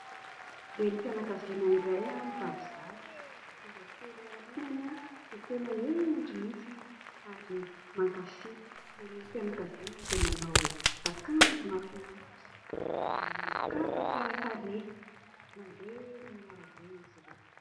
Renim-pianakaviana iray mibaby zaza, zazakely ao aorinany dia tena hendry mihitsiny ary mankafy, renim-pianakaviana dia manao akanjo mahafinaritra, manao kapa tsara tarehy, mandeha eny amin'ny arabe izy ireo.